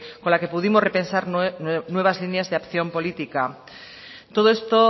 con la que pudimos repensar nuevas líneas de acción política todo esto